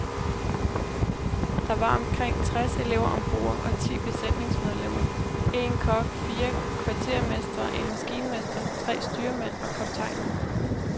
Der var omkring tres elever om bord og ti besætningsmedlemmer, en kok, fire kvartermestre, en maskinmester, tre styrmænd og kaptajnen.